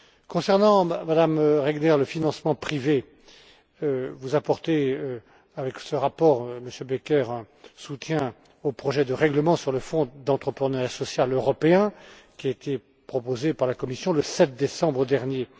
Concernant Madame Regner le financement privé, vous apportez, avec ce rapport Monsieur Becker un soutien au projet de règlement sur le fonds d'entrepreneuriat social européen, qui a été proposé par la Commission le 7 décembre dernier.